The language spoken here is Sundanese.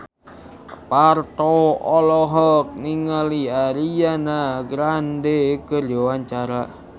Parto olohok ningali Ariana Grande keur diwawancara